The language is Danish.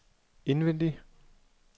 indvendig